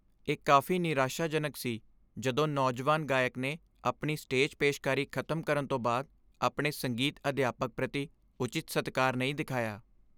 ਇਹ ਕਾਫੀ ਨਿਰਾਸ਼ਾਜਨਕ ਸੀ ਜਦੋਂ ਨੌਜਵਾਨ ਗਾਇਕ ਨੇ ਆਪਣੀ ਸਟੇਜ ਪੇਸ਼ਕਾਰੀ ਖ਼ਤਮ ਕਰਨ ਤੋਂ ਬਾਅਦ ਆਪਣੇ ਸੰਗੀਤ ਅਧਿਆਪਕ ਪ੍ਰਤੀ ਉਚਿਤ ਸਤਿਕਾਰ ਨਹੀਂ ਦਿਖਾਇਆ।